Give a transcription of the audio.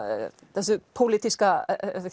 þessu pólitíska